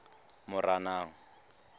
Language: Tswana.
moranang